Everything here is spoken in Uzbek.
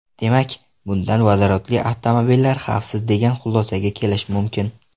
Demak, bundan vodorodli avtomobillar xavfsiz degan xulosaga kelish mumkin.